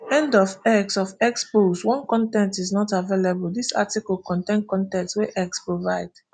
end of x of x post one con ten t is not available dis article contain con ten t wey x provide